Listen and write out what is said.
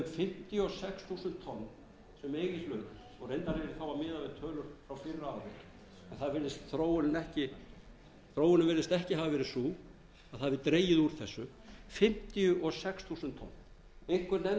þau fimmtíu og sex þúsund tonn sem eiga í hlut og reyndar er ég þá að miða við tölur frá fyrra ári þróunin virðist ekki hafa verið sú að það hafi dregið úr þessu fimmtíu og sex þúsund tonn einhver nefndi það